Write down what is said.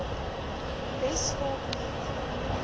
wes kaap net